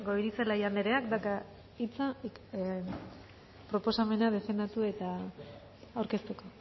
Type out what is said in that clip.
goirizelaia andereak dauka hitza proposamena defendatu eta aurkezteko